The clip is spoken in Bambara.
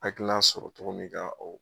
Hakilan sɔrɔ togomin ka o